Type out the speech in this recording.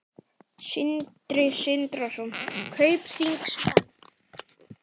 Sindri Sindrason: Kaupþingsmenn?